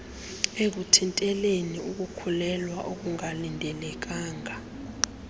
ekuthinteleni ukukhulelwea okungalindelekanga